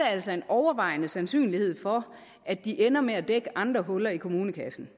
altså en overvejende sandsynlighed for at de ender med at dække andre huller i kommunekassen